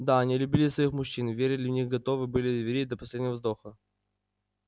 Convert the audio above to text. да они любили своих мужчин верили в них и готовы были верить до последнего вздоха